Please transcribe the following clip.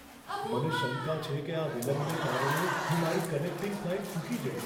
મને શંકા છે કે આ વિલંબને કારણે હું મારી કનેક્ટિંગ ફ્લાઈટ ચૂકી જઈશ.